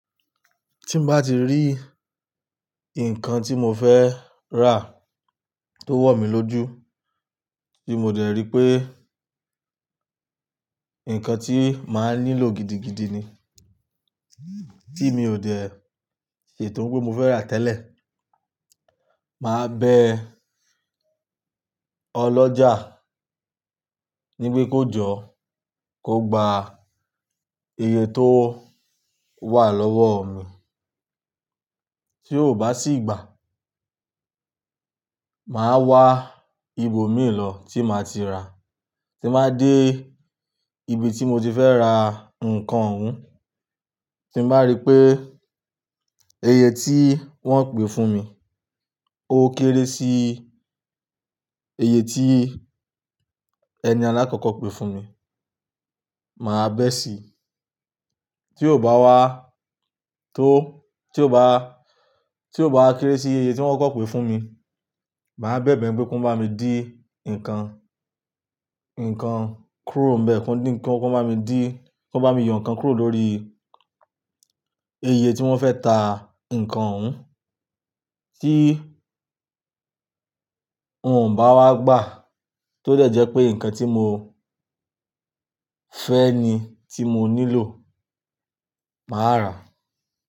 Tí bá ti rí nǹkan tí mo fẹ́ rà tó wọ̀ mí lójú tí mo dẹ̀ rí pé nǹkan tí màá nílò gidigidi ni tí mi ò dẹ̀ ṣe tó un pé mo fẹ́ rà tẹ́lẹ̀. Màá bẹ ọlọ́jà ní pé kó jọ́ kó gba iye tó wà lọ́wọ́ mi. Tí ó bá sì gbà, màá wá ibòmí lo tí màá ti ra, tí bàá dé ibi tí mo ti fẹ́ ra nǹkan oún, tí màá rí pé iye tí wọ́n pè fún mi ó kéré sí iye tí ẹni alákọ̀kọ́ pè fún mi, màá bẹ́ sí i. Tí ò bá wá tó, tí ò bá, tí ò bá wá kéré sí iye tí wọ́n koko pè fún mi, màá bẹ̀bẹ̀ pé kí wọ́n bá mi dí ǹkan, ǹkan kúrò níbẹ̀, kí wọ́n bá mi dí, kí wọ́n bá mi yo ǹkan kúrò lórí iye tí wọ́n fẹ́ ta ǹkan ún. Tí òun ò bá wá gbà, tó dẹ̀ jẹ́ pé nǹkan tí mo fẹ́ ni tí mo nílò, màá rà.